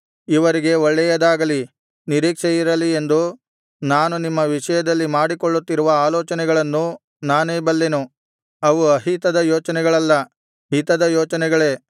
ಇವರಿಗೆ ಒಳ್ಳೆಯದಾಗಲಿ ನಿರೀಕ್ಷೆಯಿರಲಿ ಎಂದು ನಾನು ನಿಮ್ಮ ವಿಷಯದಲ್ಲಿ ಮಾಡಿಕೊಳ್ಳುತ್ತಿರುವ ಆಲೋಚನೆಗಳನ್ನು ನಾನೇ ಬಲ್ಲೆನು ಅವು ಅಹಿತದ ಯೋಚನೆಗಳಲ್ಲ ಹಿತದ ಯೋಚನೆಗಳೇ